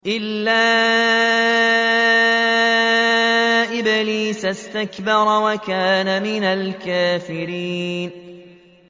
إِلَّا إِبْلِيسَ اسْتَكْبَرَ وَكَانَ مِنَ الْكَافِرِينَ